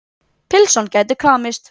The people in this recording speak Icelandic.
Pylsan gæti kramist.